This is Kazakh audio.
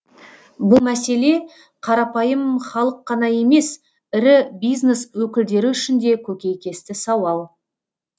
бұл мәселе қарапайым халық қана емес ірі бизнес өкілдері үшін де көкейкесті сауал